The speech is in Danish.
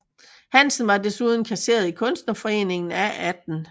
Hansen var desuden kasserer i Kunstnerforeningen af 18